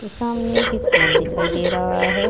सामने एक स्कूल दिखाई दे रहा है।